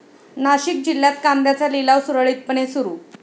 नाशिक जिल्ह्यात कांद्याचा लिलाव सुरळीतपणे सुरू